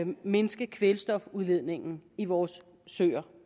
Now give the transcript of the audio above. mindske kvælstofudledningen i vores søer